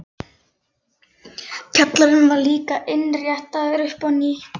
Kjallarinn var líka innréttaður upp á nýtt.